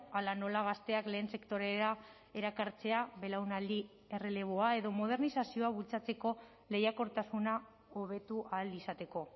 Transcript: hala nola gazteak lehen sektorera erakartzea belaunaldi erreleboa edo modernizazioa bultzatzeko lehiakortasuna hobetu ahal izateko